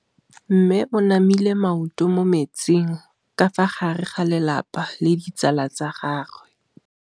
Mme o namile maoto mo mmetseng ka fa gare ga lelapa le ditsala tsa gagwe.